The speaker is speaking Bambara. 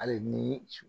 Hali ni